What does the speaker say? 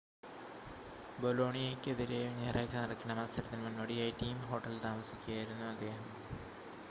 ബൊലോണിയയ്‌ക്കെതിരെ ഞായറാഴ്ച നടക്കേണ്ട മത്സരത്തിന് മുന്നോടിയായി ടീം ഹോട്ടലിൽ താമസിക്കുകയായിരുന്നു അദ്ദേഹം